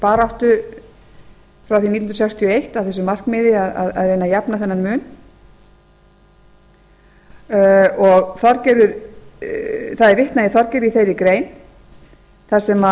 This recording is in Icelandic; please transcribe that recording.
baráttu frá því nítján hundruð sextíu og eitt að þessu markmiði að reyna að jafna þennan mun það er vitnað í þorgerði í þeirri grein þar sem